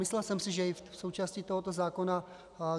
Myslel jsem si, že je to součástí tohoto zákona.